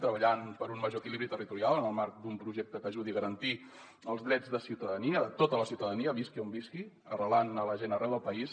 treballant per un major equilibri territorial en el marc d’un projecte que ajudi a garantir els drets de ciutadania de tota la ciutadania visqui on visqui arrelant la gent arreu del país